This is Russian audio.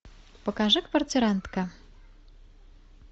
покажи квартирантка